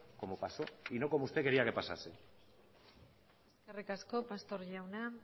como pasó y no como usted quería que pasase eskerrik asko pastor jauna